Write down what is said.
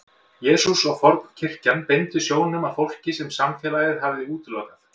Jesús og fornkirkjan beindu sjónum að fólki sem samfélagið hafði útilokað.